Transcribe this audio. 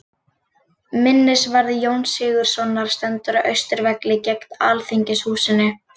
Minnisvarði Jóns Sigurðssonar stendur á Austurvelli, gegnt Alþingishúsinu.